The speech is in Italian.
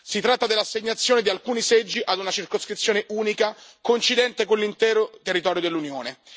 Si tratta dell'assegnazione di alcuni seggi ad una circoscrizione unica coincidente con l'intero territorio dell'Unione.